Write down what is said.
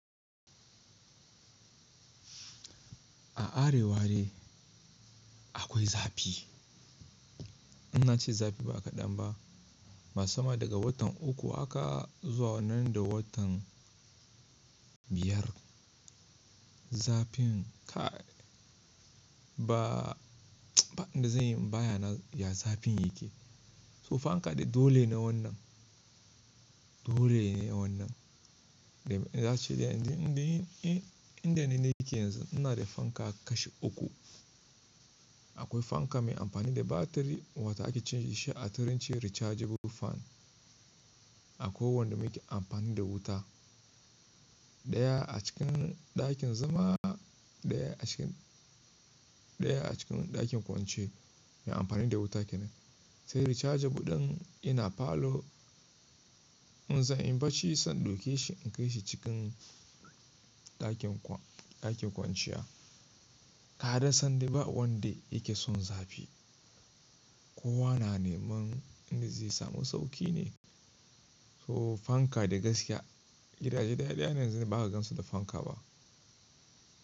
A arewa dai akwai zafi. Ina nace zafi ba kadan ba. Masamman daga watan uku aka zuwa nan da watan biyar. Zafin kai ba, ba ina zan yi baya na ya zafin yake. To fanka da dole ne wannan. Dole ne wannan. Ina cewa inda nine yake yanzu ina da fanka kashi uku. Akwai fanka mai amfani da batiri wata ake canza shi a turanci rechargeable fan. Akwai wanda muke amfani da wuta. Ɗaya a cikin ɗakin zama, ɗaya a cikin ɗakin kwanciya mai amfani da wuta kenan. Sai rechargeable ɗin ina falo. In zan yi barci zan ɗauke shi in kai shi cikin ɗakin kwanciya. Ga ra sanyi ba wanda yake son zafi. Kowa na neman inda zai samu sauƙi ne. To fanka dai gaskiya gidaje daɗɗa ya ne yanzu ba zaka gansu da fanka ba.